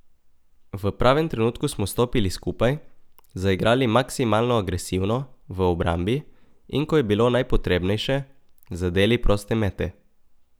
V pravem trenutku smo stopili skupaj, zaigrali maksimalno agresivno v obrambi in ko je bilo najpotrebnejše, zadeli proste mete.